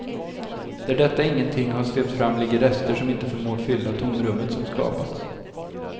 Där detta ingenting har svept fram ligger rester som inte förmår fylla tomrummet som skapats.